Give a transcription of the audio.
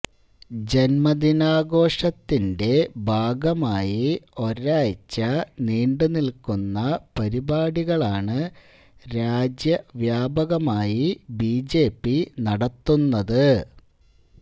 ജന്മദിനാഘോഷത്തിന്റെ ഭാഗമായി ഒരാഴ്ച നീണ്ടുനില്ക്കുന്ന പരിപാടികളാണ് രാജ്യവ്യാപകമായി ബിജെപി നടത്തുന്നത്